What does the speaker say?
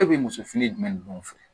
E bɛ muso fini jumɛn ninnu fɛ